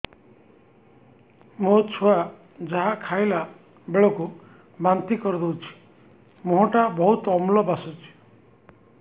ମୋ ଛୁଆ ଯାହା ଖାଇଲା ବେଳକୁ ବାନ୍ତି କରିଦଉଛି ମୁହଁ ଟା ବହୁତ ଅମ୍ଳ ବାସୁଛି